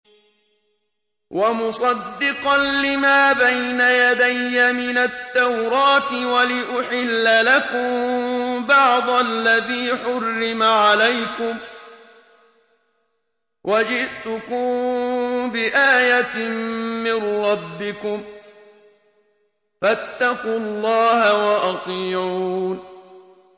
وَمُصَدِّقًا لِّمَا بَيْنَ يَدَيَّ مِنَ التَّوْرَاةِ وَلِأُحِلَّ لَكُم بَعْضَ الَّذِي حُرِّمَ عَلَيْكُمْ ۚ وَجِئْتُكُم بِآيَةٍ مِّن رَّبِّكُمْ فَاتَّقُوا اللَّهَ وَأَطِيعُونِ